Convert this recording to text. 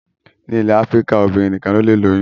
Ní ilẹ̀ Áfíríkà, obìnrin nìkan lọlé lóyún